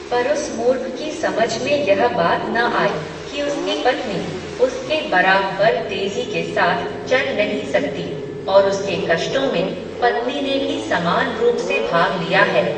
पर उस मूर्ख की समझ में यह बात न आई, कि उसकी पत्नी, उसके बराबर तेज़ी के साथ चल नहीं सकती, और उसके कष्टों में, पत्नी ने भी समान रूप से भाग लिया है